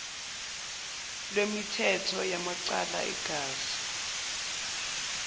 lwemithetho yamacala egazi